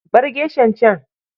Bar geshan can.